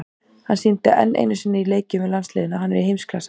Hann sýndi enn einu sinni í leikjum með landsliðinu að hann er í heimsklassa.